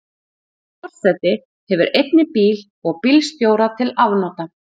Forseti hefur einnig bíl og bílstjóra til afnota.